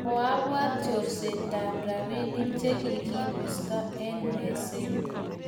koabwat chorseta robinik che kikibisto wng meset